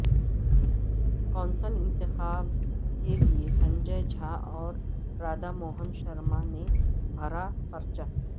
council انتخاب کے لئے سنجے جھا اور رادھا موہن شرمانے بھرا پرچہ